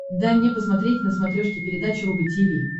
дай мне посмотреть на смотрешке передачу рубль ти ви